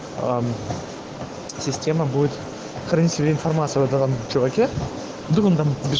эм система будет хранить в себе информацию об этом чуваке вдруг он там побеж